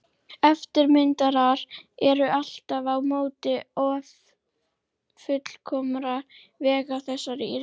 Eftirmyndirnar eru aftur á móti ófullkomnar vegna þessa rýmis.